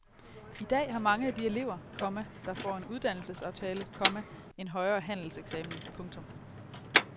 I dag har mange af de elever, komma der får en uddannelsesaftale, komma en højere handelseksamen. punktum